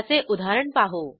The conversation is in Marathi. त्याचे उदाहरण पाहू